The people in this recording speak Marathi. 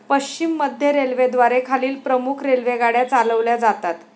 पश्चिम मध्य रेल्वेद्वारे खालील प्रमुख रेल्वेगाड्या चालवल्या जातात.